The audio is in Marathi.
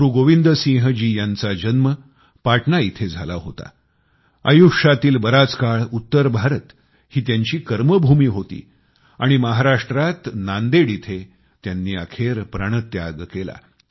गुरु गोबिंद सिंह जी यांचा जन्म पाटणा येथे झाला होता आयुष्यातील बराच काळ उत्तर भारत ही त्यांची कर्मभूमी होती आणि महाराष्ट्रात नांदेड येथे त्यांनी अखेर प्राणत्याग केला